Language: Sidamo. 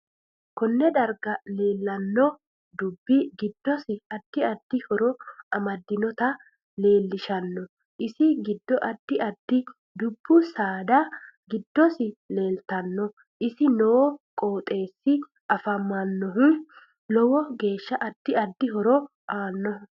Konne darga leelanno dubbi giddosi addi addi horo amadinota leelishanno isi giddo addi addi dubbu saada giddosi leeltanno isi noo qoxeesi afamanohu lowo geesha addi addi horo aanoho